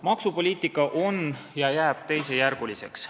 Maksupoliitika on teisejärguline ja jääb teisejärguliseks.